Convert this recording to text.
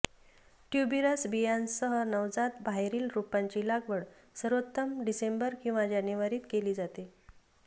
tuberous बियाण्यांसह नवजात बाहेरील रोपांची लागवड सर्वोत्तम डिसेंबर किंवा जानेवारीत केली जाते